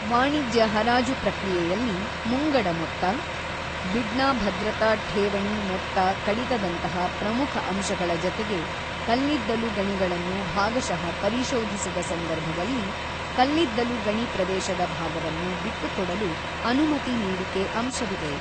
ವಾಣಿಜ್ಯ ಹರಾಜು ಪ್ರಕ್ರಿಯೆಯಲ್ಲಿ ಮುಂಗಡ ಮೊತ್ತ, ಬಿಡ್ನ ಭದ್ರತಾ ಠೇವಣಿ ಮೊತ್ತ ಕಡಿತದಂತಹ ಪ್ರಮುಖ ಅಂಶಗಳ ಜತೆಗೆ ಕಲ್ಲಿದ್ದಲು ಗಣಿಗಳನ್ನು ಭಾಗಶಃ ಪರಿಶೋಧಿಸಿದ ಸಂದರ್ಭದಲ್ಲಿ ಕಲ್ಲಿದ್ದಲು ಗಣಿ ಪ್ರದೇಶದ ಭಾಗವನ್ನು ಬಿಟ್ಟುಕೊಡಲು ಅನುಮತಿ ನೀಡಿಕೆ ಅಂಶವಿದೆ.